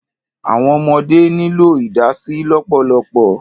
Àwọn ọmọdé nílò ìdásí lọ́pọ̀lọpọ̀.